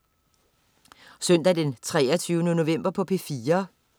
Søndag den 23. november - P4: